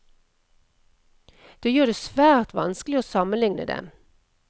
Det gjør det svært vanskelig å sammenligne dem.